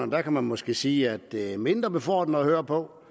man kan måske sige at det er mindre befordrende at høre på